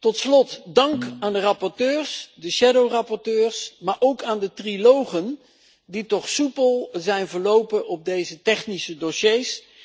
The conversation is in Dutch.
Tot slot dank aan de rapporteurs, de schaduwrapporteurs, maar ook aan de trialogen die toch soepel zijn verlopen voor deze technische dossiers.